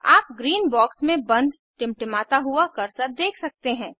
आप green box में बंद टिमटिमाता हुआ कर्सर देख सकते हैं